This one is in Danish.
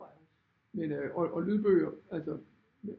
Men øh og lydbøger